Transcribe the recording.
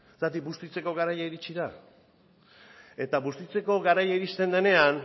zergatik bustitzeko garai iritsi da eta bustitzeko garaia irizten denean